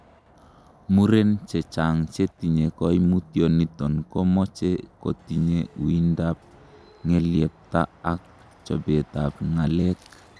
Muren chechang' chetinye koimutioniton komoche kotinye uindab ng'eleyepta ak chobetab ng'alek.